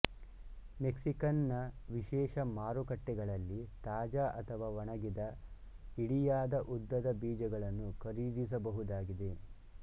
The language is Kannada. ಮೆಕ್ಸಿಕನ್ ನ ವಿಶೇಷ ಮಾರುಕಟ್ಟೆಗಳಲ್ಲಿ ತಾಜಾ ಅಥವಾ ಒಣಗಿದ ಇಡಿಯಾದ ಉದ್ದದ ಬೀಜಗಳನ್ನು ಖರೀದಿಸಬಹುದಾಗಿದೆ